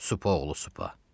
Supa oğlu supa.